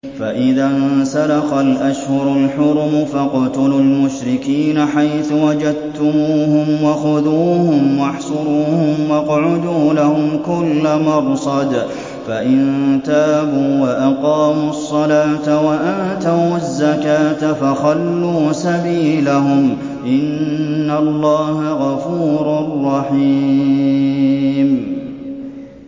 فَإِذَا انسَلَخَ الْأَشْهُرُ الْحُرُمُ فَاقْتُلُوا الْمُشْرِكِينَ حَيْثُ وَجَدتُّمُوهُمْ وَخُذُوهُمْ وَاحْصُرُوهُمْ وَاقْعُدُوا لَهُمْ كُلَّ مَرْصَدٍ ۚ فَإِن تَابُوا وَأَقَامُوا الصَّلَاةَ وَآتَوُا الزَّكَاةَ فَخَلُّوا سَبِيلَهُمْ ۚ إِنَّ اللَّهَ غَفُورٌ رَّحِيمٌ